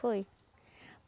Foi.